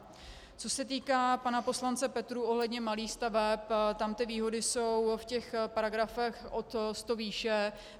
Co se týká pana poslance Petrů ohledně malých staveb, tam ty výhody jsou v těch paragrafech od sto výše.